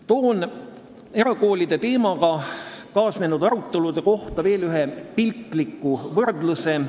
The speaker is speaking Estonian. Toon erakoolide teemaga kaasnenud arutelude kohta ühe piltliku võrdluse.